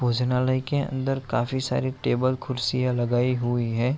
भोजनालय के अंदर काफी सारी टेबल कुर्सियाँ लगाई हुई है।